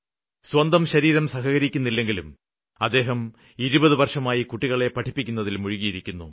സ്വന്തം ശരീരം സഹകരിക്കുന്നില്ലെങ്കിലും അദ്ദേഹം ഇരുപതു വര്ഷമായി കുട്ടികളെ പഠിപ്പിക്കുന്നതില് മുഴുകിയിരിക്കുന്നു